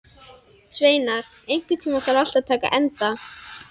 Sveinar, einhvern tímann þarf allt að taka enda.